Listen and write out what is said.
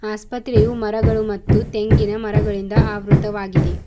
ಆಸ್ಪತ್ರೆಯು ಮರಗಳು ಮತ್ತು ತೆಂಗಿನ ಮರಗಳಿಂದ ಆವೃತವಾಗಿದೆ.